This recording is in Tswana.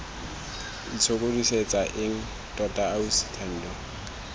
itshokodisetsa eng tota ausi thando